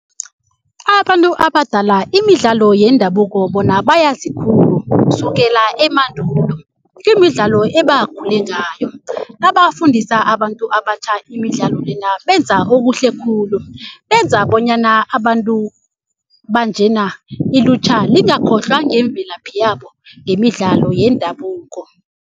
Abantu abadala imidlalo yendabuko bona bayazi khulu kusukela emandulo. Imidlalo ebakhule ngayo nabafundisa abantu abatjha imidlalo lena benza okuhle khulu. Benza bonyana abantu banjena ilutjha lingakhohlwa ngemvelaphi yabo ngemidlalo yendabuko.